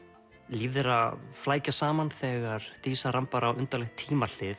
líf þeirra flækjast saman þegar dísa rambar á undarlegt